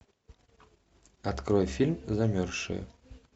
открой фильм замерзшие